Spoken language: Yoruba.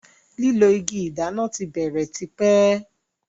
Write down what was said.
lilọ ìgi dáná tí bèrè t'ipe.